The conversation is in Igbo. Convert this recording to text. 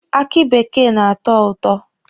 Akị bekee na-atọ ụtọ.